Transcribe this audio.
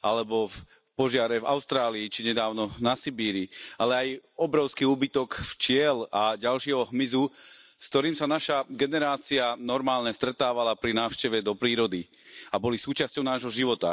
alebo požiare v Austrálii či nedávno na Sibíri, ale aj obrovský úbytok včiel a ďalšieho hmyzu, s ktorým sa naša generácia normálne stretávala pri návšteve do prírody a boli súčasťou nášho života.